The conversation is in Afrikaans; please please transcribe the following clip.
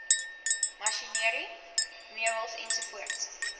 masjinerie meubels ens